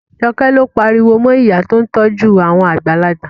Joke ló pariwo mọ ìyá tí ó ń tọ́jú àwọn àgbàlagbà